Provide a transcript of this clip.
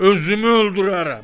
Özümü öldürərəm.